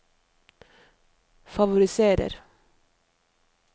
favoriserer